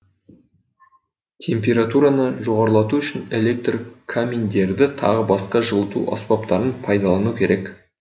температураны жоғарылату үшін электр каминдерді тағы басқа жылыту аспаптарын пайдалану керек